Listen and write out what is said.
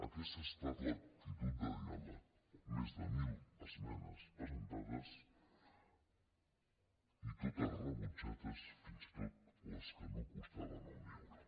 aquesta ha estat l’actitud de diàleg més de mil esmenes presentades i totes rebutjades fins i tot les que no costaven un euro